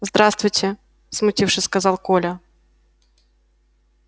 здравствуйте смутившись сказал коля